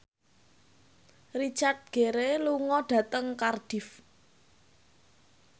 Richard Gere lunga dhateng Cardiff